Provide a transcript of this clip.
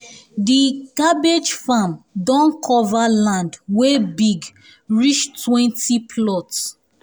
di cabbage farm don cover land wey big reach twenty plots